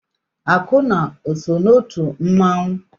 Akụnna o so n'otu mmanwụ?